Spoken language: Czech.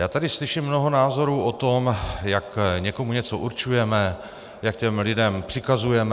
Já tady slyším mnoho názorů o tom, jak někomu něco určujeme, jak těm lidem přikazujeme.